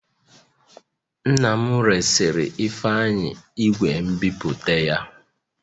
Nna m resịrị Ifeanyi igwe nbipute ya